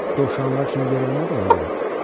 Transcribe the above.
Dovşanlar üçün yer olmadı ona görə.